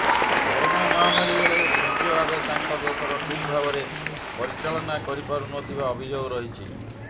corona ମହାମାରୀ ବେଳେ Shinzo Abe ତାଙ୍କ ଦେଶର ଠିକ୍ ଭାବରେ ପରିଚାଳନା କରିପାରୁନଥିବା ଅଭିଯୋଗ ରହିଛି